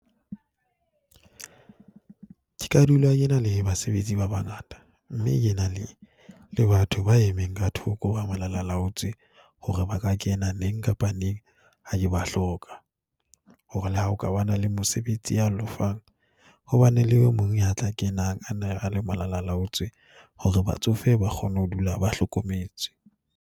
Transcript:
Ke ka dula ke na le basebetsi ba bangata mme ke na le batho ba emeng ka thoko, ba malalaalaotswe hore ba ka kena neng kapa neng ha ke ba hloka hore le ha hokabana le mosebetsi ya lofang ho ba ne le mong ya tla kenang a nne a le malalaalaotswe hore batsofe ba kgone ho dula ba hlokometse.